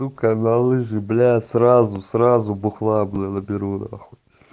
ну ка на лыжи бля сразу сразу бухла наберу на хуй